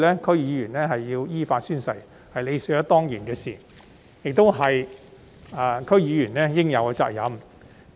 區議員必須依法宣誓，是理所當然的事，亦是區議員應有的責任。